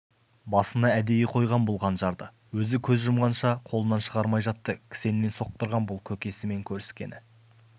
басына әдейі қойғам бұл қанжарды өзі көз жұмғанша қолынан шығармай жатты кісеннен соқтырғам бұл көкесімен көріскені